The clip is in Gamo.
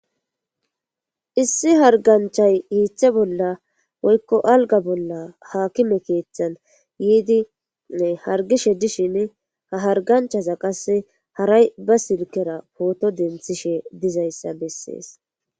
Issi harganchay hiithe bolla woykko alga bolla haakime keeththan yiidi hargishe dishin ha harganchaza qasse haray ba silkera pooto denthishe dizayssa bessees.